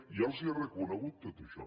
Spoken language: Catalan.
ja els ho he reconegut tot això